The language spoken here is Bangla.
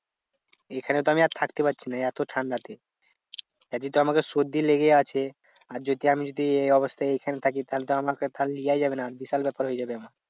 এখানে তো আমি আর থাকতে পাচ্ছিনা এত ঠান্ডা তে। এমনি তো আমাদের সর্দি লেগে আছে। আর যদি আমি যদি এই অবস্থায় এখানে থাকি তাহলে তো আমাকে তাহলে লিয়াই যাবে না বিশাল ব্যাপার হয়ে যাবে আমার।